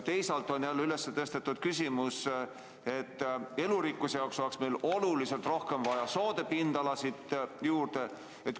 Teisalt on jälle üles tõstetud küsimus, et elurikkuse huvides oleks meil oluliselt rohkem juurde vaja soode pindala.